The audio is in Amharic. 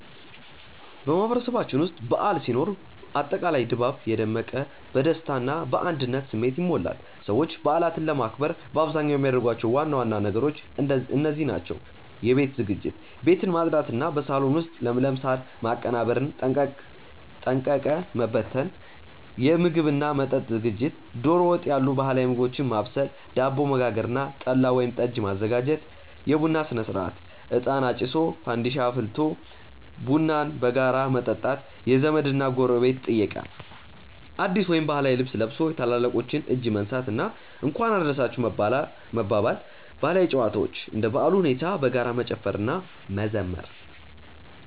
በማህበረሰባችን ውስጥ በዓል ሲኖር አጠቃላይ ድባቡ የደመቀ፣ በደስታ እና በአንድነት ስሜት ይሞላል። ሰዎች በዓላትን ለማክበር በአብዛኛው የሚያደርጓቸው ዋና ዋና ነገሮች እንደዚህ ናቸው፦ የቤት ዝግጅት፦ ቤትን ማጽዳት እና በሳሎን ውስጥ ለምለም ሳር ማቀነባበርና ጠንቀቀ መበተን። የምግብ እና መጠጥ ዝግጅት፦ ዶሮ ወጥ ያሉ ባህላዊ ምግቦችን ማብሰል፣ ዳቦ መጋገር እና ጠላ ወይም ጠጅ ማዘጋጀት። የቡና ሥነ-ሥርዓት፦ እጣን አጭሶ፣ ፋንዲሻ አፍልቆ ቡናን በጋራ መጠጣት። የዘመድ እና ጎረቤት ጥየቃ፦ አዲስ ወይም ባህላዊ ልብስ ለብሶ የታላላቆችን እጅ መንሳት እና "እንኳን አደረሳችሁ" መባባል። ባህላዊ ጨዋታዎች፦ እንደ በዓሉ ሁኔታ በጋራ መጨፈር እና መዘመር።